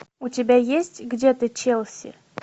у тебя есть где ты челси